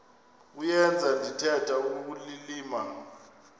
kuyenza ndithetha ukulilima